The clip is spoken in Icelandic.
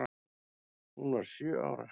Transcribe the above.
Hún varð sjö ára.